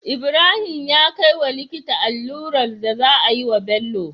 Ibrahim ya kai wa likita allurar da za a yi wa Bello